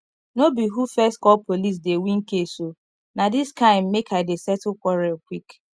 no be who first call police dey win case o na dis kind make i dey settle quarrel quick